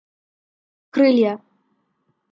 крылья